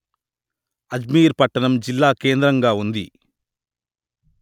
అజ్మీర్ పట్టణం జిల్లాకేంద్రంగా ఉంది